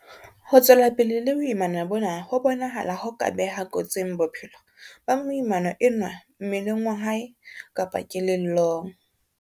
Ho tswela pele le boimana bona ho bonahala ho ka beha kotsing bophelo ba moimana enwa mmeleng wa hae kapa kelellong.